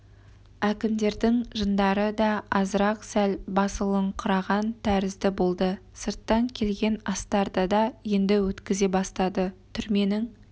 әкімдердің жындары да азырақ сәл басылыңқыраған тәрізді болды сырттан келген астарды да енді өткізе бастады түрменің